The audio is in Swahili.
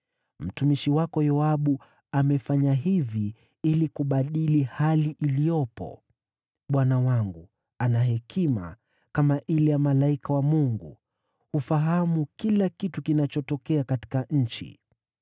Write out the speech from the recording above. Mtumishi wako Yoabu amefanya hivi ili kubadili hali iliyopo. Bwana wangu ana hekima kama ile ya malaika wa Mungu, hufahamu kila kitu kinachotokea katika nchi.”